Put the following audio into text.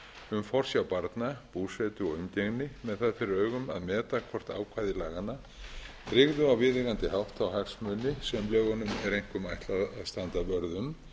um forsjá barna búsetu og umgengni með það fyrir augum að meta hvort ákvæði laganna tryggðu á viðeigandi hátt þá hagsmuni sem lögunum er einkum ætlað að standa vörð um